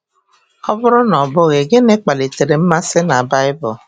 Ọ bụrụ na ọ bụghị, gịnị kpalitere mmasị na Bible?